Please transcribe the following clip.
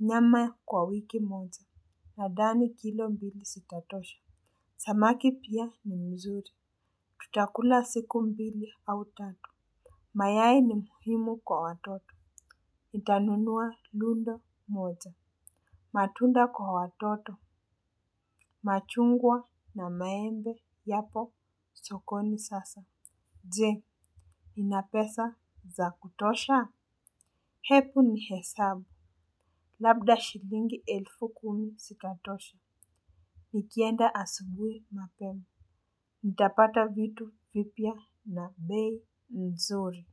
nyama kwa wiki moja. Nadhani kilo mbili sitatosha. Samaki pia ni mzuri. Tutakula siku mbili au tatu. Mayai ni muhimu kwa watoto. Nitanunua lundo moja. Matunda kwa watoto. Machungwa na maembe yapo sokoni sasa. Jee, ninapesa za kutosha? Hepu ni hesabu. Labda shilingi elfu kumi sitatosha. Nikienda asubui mapema. Nitapata vitu vipia na bei mzuri.